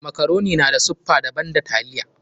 Makaroni na da siffa daban da taliya.